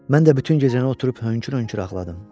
Mən də bütün gecəni oturub hönkür-hönkür ağladım.